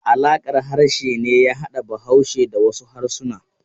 Alaƙar harshe ne ya hada Bahaushe da wasu harsuna.